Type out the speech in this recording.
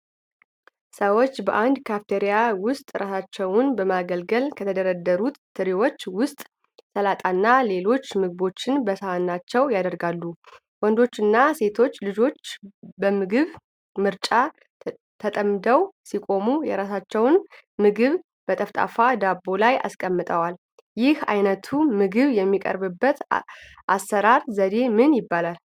ሰዎች፣ በአንድ ካፊቴሪያ ውስጥ ራሳቸውን በማገልገል፣ ከተደረደሩት ትሪዎች ውስጥ ሰላጣና ሌሎች ምግቦችን በሳህናቸው ያደርጋሉ። ወንዶችና ሴቶች ልጆች በምግብ ምርጫ ተጠምደው ሲቆሙ፣ የራሳቸውን ምግብ በጠፍጣፋ ዳቦ ላይ አስቀምጠዋል። ይህ ዓይነቱ ምግብ የሚቀርብበት የአሠራር ዘዴ ምን ይባላል?